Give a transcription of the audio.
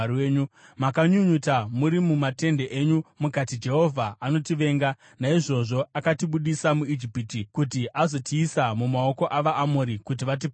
Makanyunyuta muri mumatende enyu, mukati, “Jehovha anotivenga; naizvozvo akatibudisa muIjipiti kuti azotiisa mumaoko avaAmori kuti vatiparadze.